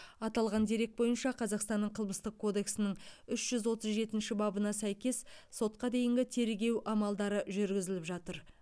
аталған дерек бойынша қазақстанның қылмыстық кодексінің үш жүз отыз жетінші бабына сәйкес сотқа дейінгі тергеу амалдары жүргізіліп жатыр